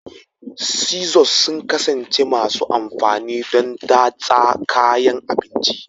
Scissors sun ƙasance masu amfani don datsa kayan abinci